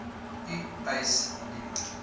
u eis indien